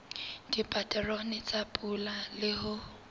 dipaterone tsa pula le ho